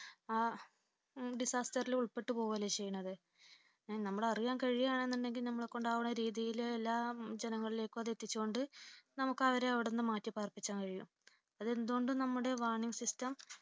ആ disaster ൽ ഉൾപ്പെട്ടുപോകുകയല്ലേ ചെയ്യുന്നത് നമ്മൾ അറിയുവാൻ കഴിയുകയാണെന്നുണ്ടെങ്കിൽ നമ്മളെ കൊണ്ടാകുന്നരീതിയിൽ എല്ലാ ജനങ്ങളിലേക്കും അതെത്തിച്ചു കൊണ്ട് നമുക്ക് അവരെ അവിടുന്ന് മാറ്റി പാർപ്പിക്കാൻ കഴിയും അത് എന്തുകൊണ്ടും നമ്മുടെ warning system